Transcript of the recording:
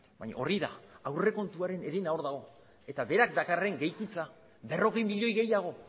baina hori da aurrekontuaren herena hor dago eta berak dakarren gehikuntza berrogei milioi gehiago